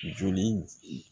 Joli